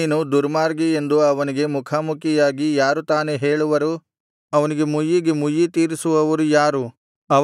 ನೀನು ದುರ್ಮಾರ್ಗಿ ಎಂದು ಅವನಿಗೆ ಮುಖಾಮುಖಿಯಾಗಿ ಯಾರು ತಾನೇ ಹೇಳುವರು ಅವನಿಗೆ ಮುಯ್ಯಿಗೆ ಮುಯ್ಯಿ ತೀರಿಸುವವರು ಯಾರು